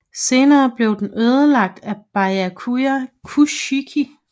Senere blev den ødelagt af Byakuya Kuchiki